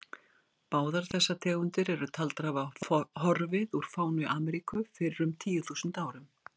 Báðar þessar tegundir eru taldar hafa horfið úr fánu Ameríku fyrir um tíu þúsund árum.